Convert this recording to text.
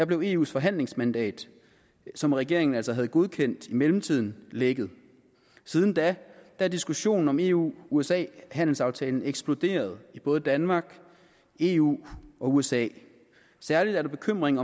blev eus forhandlingsmandat som regeringen altså havde godkendt i mellemtiden lækket siden da er diskussionen om eu usa handelsaftalen eksploderet i både danmark eu og usa særligt er der bekymring